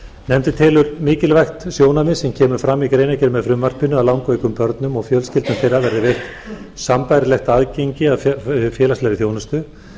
nefndin telur mikilvægt sjónarmið sem kemur fram í greinargerð með frumvarpinu að langveikum börnum og fjölskyldum þeirra verði veitt sambærilegt aðgengi að félagslegri þjónustu